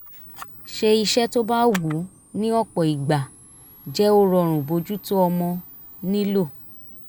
ṣe iṣẹ́ tó bá wù ní ọ̀pọ̀ ìgbà jẹ́ ó rọrùn bójú tó ọmọ nílò